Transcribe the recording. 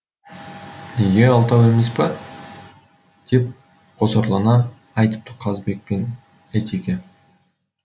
неге алтау емес пе деп қосарлана айтыпты қазыбек пен әйтеке